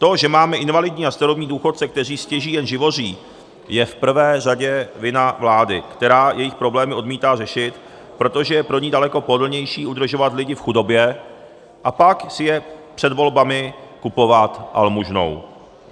To, že máme invalidní a starobní důchodce, kteří stěží jen živoří, je v prvé řadě vina vlády, která jejich problémy odmítá řešit, protože je pro ni daleko pohodlnější udržovat lidi v chudobě a pak si je před volbami kupovat almužnou.